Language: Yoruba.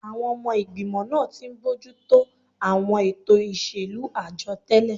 Àwọn ọmọ ìgbìmọ̀ náà ti ń bójú tó àwọn ètò ìṣèlú àjọ tẹ́lẹ̀